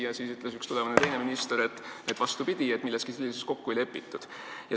Ja siis ütles üks teine tulevane minister, et vastupidi, milleski sellises kokku ei lepitud.